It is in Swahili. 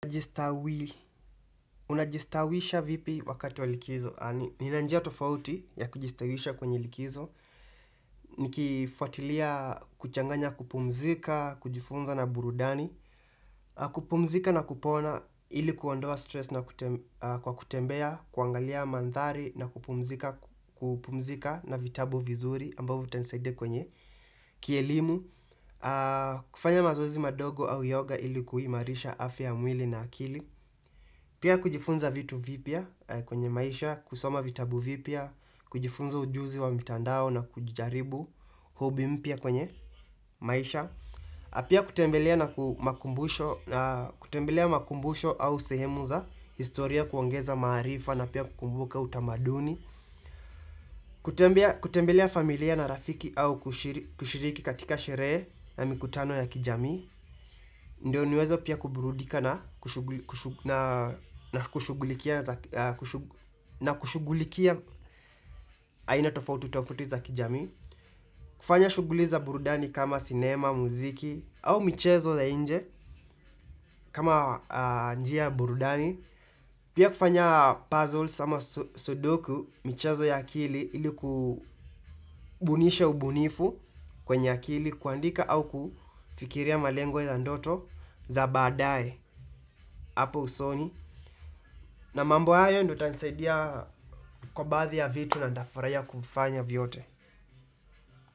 Unajistawisha vipi wakati wa likizo? Nina njia tofauti ya kujistawisha kwenye likizo. Nikifuatilia kuchanganya kupumzika, kujifunza na burudani. Kupumzika na kupona ili kuondoa stress na kwa kutembea, kuangalia mandhari na kupumzika na vitabu vizuri ambavyo vitasaidia kwenye kielimu. Kufanya mazoezi madogo au yoga ili kuimarisha afya ya mwili na akili. Pia kujifunza vitu vipya kwenye maisha, kusoma vitabu vipya, kujifunza ujuzi wa mitandao na kujaribu hobby mpya kwenye maisha Pia kutembelea na makumbusho au sehemu za, historia kuongeza maarifa na pia kukumbuka utamaduni kutembelea familia na rafiki au kushiriki katika sherehe na mikutano ya kijamii. Ndio niweze pia kuburudika na na kushugulikia aina tofauti tofauti za kijamii kufanya shughuli za burudani kama sinema, muziki au michezo za nje kama njia ya burudani Pia kufanya puzzles ama sudoku michezo ya akili ili kubunisha ubunifu kwenye akili kuandika au kufikiria malengo ya ndoto za baadaye hapo usoni. Na mambo hayo ndio itanisaidia kwa baadhi ya vitu na ninafurahia kufanya vyote.